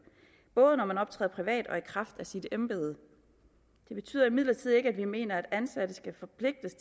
både når man optræder privat og i kraft af sit embede det betyder imidlertid ikke at vi mener at ansatte skal forpligtes